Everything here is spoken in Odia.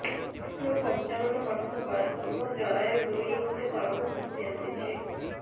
ମୁଁ ପଞ୍ଚାବନ ବର୍ଷ ବୟସ ମୋର ଜରାୟୁ ଦୁଇ ଇଞ୍ଚ ତଳକୁ ଖସି ଆସିଛି